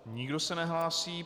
Nikdo se nehlásí.